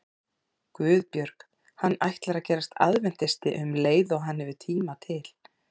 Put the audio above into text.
GUÐBJÖRG: Hann ætlar að gerast aðventisti um leið og hann hefur tíma til.